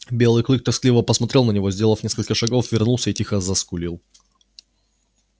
белый клык тоскливо посмотрел на него сделал несколько шагов вернулся и тихо заскулил